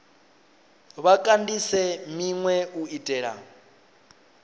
vha kandise minwe u itela